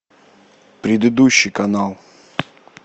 предыдущий канал